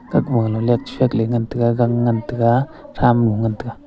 taku gale leitshakley ngan taga gang ngan taiga thramo ngan taga.